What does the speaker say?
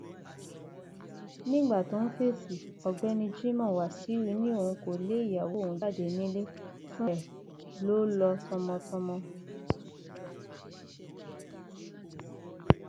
nígbà tó ń fèsì ọgbẹni jimoh wasu ni òun kò lé ìyàwó òun jáde nílé fúnra ẹ ló lọ tọmọtọmọ